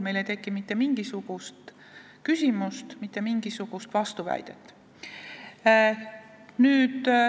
Siin ei teki meil mitte mingisugust küsimust, mitte mingisugust vastuväidet.